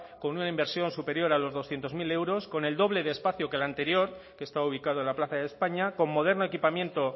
con una inversión superior a los doscientos mil euros con el doble de espacio que el anterior que está ubicado en la plaza de españa con moderno equipamiento